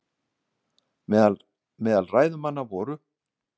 Meðal ræðumanna voru